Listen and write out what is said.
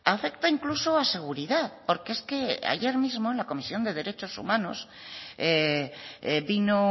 afecta incluso a seguridad porque es que ayer mismo en la comisión de derechos humanos vino